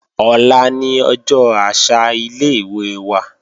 Ọ̀la ni ọjọ́ àṣà ilé-ìwé wa